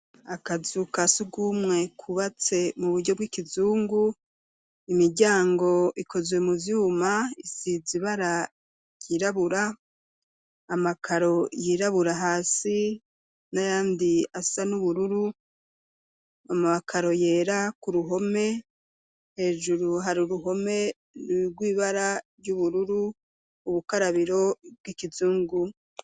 Akazu ka sugumwe kubatse mu buryo bw'ikizungu, imiryango ikozwe mu vyuma isize ibara ryirabura, amakaro yirabura hasi n'ayandi asa n'ubururu, amakaro yera ku ruhome, hejuru hari uruhome rw'ibara ry'ubururu, ubukarabiro bw'ikizungu.